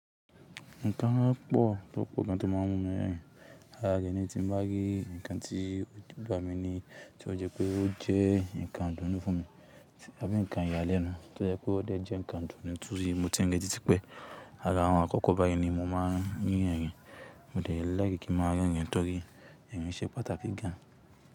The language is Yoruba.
Nǹkan mán pọ̀ tó po gan tó máa múmi rẹ́rìn. Lára rẹni tí nbá rí nǹkan tí ó bà mí ni tí ó jẹ́ pé ó jẹ́ nǹkan idùnú fún mi tàbí nǹkan ìyàlẹ́nu tí ó jẹ́ pé ó dẹ̀ jẹ́ nǹkan idùnú torí mo ti re tí típé. Lára àwọn àkọ́kọ́ báyìí ni mo máa ń rín ẹ̀rìn. Mo dẹ̀ líke kí máa rẹ́rìn torí ẹ̀rìn ṣẹ́ pàtàkì gan.